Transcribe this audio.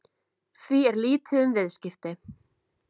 Því er lítið um viðskipti